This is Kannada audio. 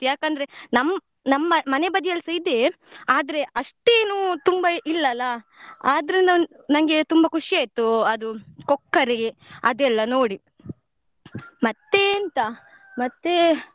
ಯಾಕಂದ್ರೆ ನಮ್ ನಮ್ಮ ಮನೆ ಬದಿಯಲ್ಲಿಸ ಇದೆ ಆದ್ರೆ ಅಷ್ಟೇನೂ ತುಂಬಾ ಇಲ್ಲ ಅಲ್ಲ ಆದ್ರಿಂದ ನಂಗೆ ತುಂಬ ಖುಷಿ ಆಯ್ತು ಅದು ಕೊಕ್ಕರೆ ಅದೆಲ್ಲ ನೋಡಿ ಮತ್ತೆ ಎಂತ ಮತ್ತೆ.